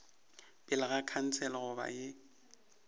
pele ga khansele goba ye